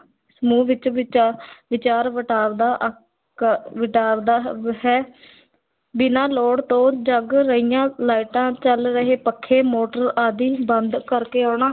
ਸਮੂਹ ਵਿੱਚ ਵਿਚਾ ਵਿਚਾਰ ਵਟਾਂਦਰਾ ਅਹ ਕ ਹੈ ਬਿਨਾਂ ਲੋੜ ਤੋਂ ਜਗ ਰਹੀਆਂ ਲਾਈਟਾਂ, ਚੱਲ ਰਹੇ ਪੱਖੇ, ਮੋਟਰ ਆਦਿ ਬੰਦ ਕਰਕੇ ਆਉਣਾ।